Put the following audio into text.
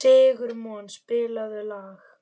Sigurmon, spilaðu lag.